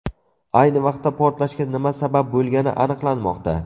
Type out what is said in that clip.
Ayni vaqtda portlashga nima sabab bo‘lgani aniqlanmoqda.